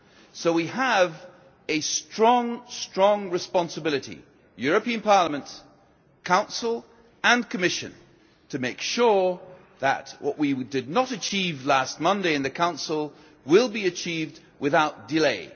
So we have a strong, strong responsibility Parliament, Council and Commission to make sure that what we did not achieve last Monday in the Council will be achieved without delay.